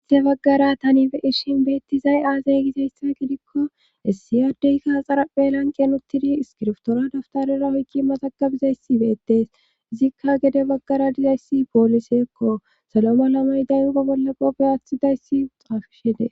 issi baggara tani be ishin beettizay aaze gizayssa gidikko essiyardeyka axaraphe lanqen uttidi iskirftoora daftarera hoykki maxakabizayssi beettees izikka gede baggara dizayssi pooliseekko salo ma lamay dayugo bolla bobe aaththidayssi uxaafishede